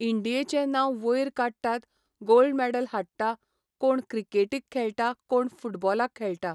इंडियेंचे नांव वयर काडटात गोल्ड मॅडल हाडटा, कोण क्रिकेटिक खेळटा, कोण फुटबॉलाक खेळटा